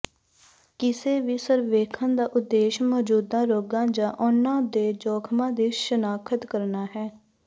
ਕਿਸੇ ਵੀ ਸਰਵੇਖਣ ਦਾ ਉਦੇਸ਼ ਮੌਜੂਦਾ ਰੋਗਾਂ ਜਾਂ ਉਹਨਾਂ ਦੇ ਜੋਖਮਾਂ ਦੀ ਸ਼ਨਾਖਤ ਕਰਨਾ ਹੈ